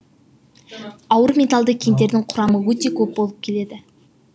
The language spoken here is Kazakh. ауыр металды кендердің құрамы өте көп болып келеді